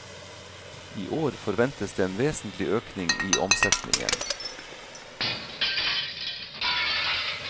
I år forventes det en vesentlig økning i omsetningen.